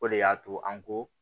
O de y'a to an ko